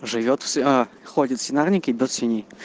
живёт все входит в свинарнике до свиньи